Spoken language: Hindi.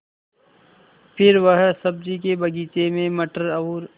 फिर वह सब्ज़ी के बगीचे में मटर और